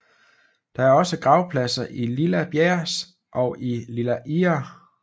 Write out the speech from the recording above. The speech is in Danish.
Der er også gravpladser i Lilla Bjärs og i Lilla Ihre